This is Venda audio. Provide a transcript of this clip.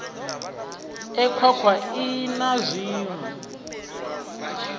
e khwakhwa ii na zwiṋwe